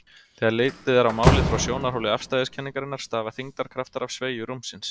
Þegar litið er á málið frá sjónarhóli afstæðiskenningarinnar stafa þyngdarkraftar af sveigju rúmsins.